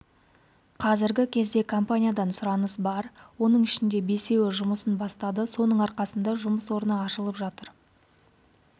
қазіргі кезде компаниядан сұраныс бар оның ішінде бесеуі жұмысын бастады соның арқасында жұмыс орны ашылып жатыр